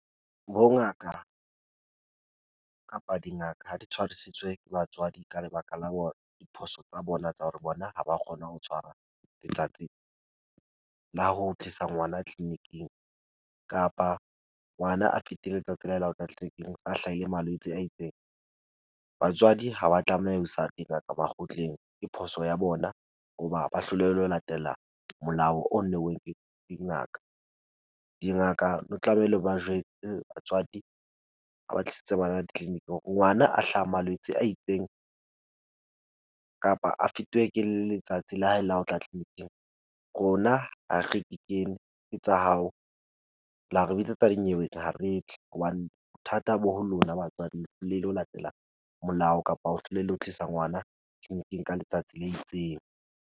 Bongaka kapa dingaka ha di tshwarisitswe ke batswadi ka lebaka la hore, diphoso tsa bona tsa hore bona ha ba kgone ho tshwara letsatsi la ho tlisa ngwana clinic-ing kapa ngwana a fete letsatsi la hae la ho tla tleleniking, a hlaile malwetse a itseng. Batswadi ha ba tlameha ho isa dingaka makgotleng, ke phoso ya bona hoba ba hlolehile ho latela molao o neuweng ke dingaka. Dingaka di tlameile ba batswadi ha ba tlisitse bana ditleliniki hore ngwana a hlahang malwetse a itseng kapa a fetuwe ke letsatsi la hae la ho tla tleleniking rona ha re di kene, ke tsa hao la re bitsetsa dinyeweng, ha re tle hobane bothata bo ho lona batswadi. Le lo latela molao, kapa o hlolehile ho tlisa ngwana tleliniking ka letsatsi le itseng.